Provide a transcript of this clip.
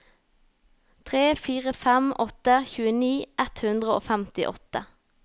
tre fire fem åtte tjueni ett hundre og femtiåtte